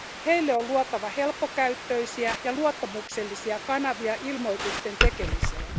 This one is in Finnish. Heille on luotava helppokäyttöisiä ja luottamuksellisia kanavia ilmoitusten tekemiseen.